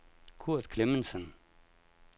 Kurt Clemmensen